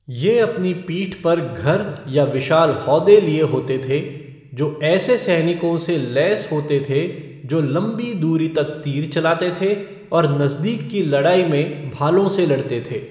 ये अपनी पीठ पर घर या विशाल हौदे लिए होते थे, जो ऐसे सैनिकों से लैस होते थे, जो लंबी दूरी तक तीर चलाते थे और नज़दीक की लड़ाई में भालों से लड़ते थे।